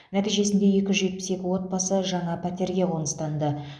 нәтижесінде екі жүз жетпіс екі отбасы жаңа пәтерге қоныстанды